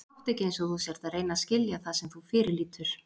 Og láttu ekki einsog þú sért að reyna að skilja það sem þú fyrirlítur.